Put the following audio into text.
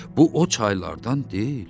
Bu o çaylardan deyil.